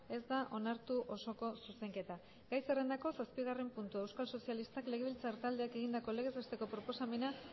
ez da onartu osoko zuzenketa gai zerrendako zazpigarren puntua euskal sozialistak legebiltzar taldeak egindako legez besteko proposamena